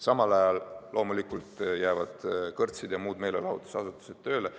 Samal ajal loomulikult jäävad kõrtsid ja muud meelelahutusasutused tööle.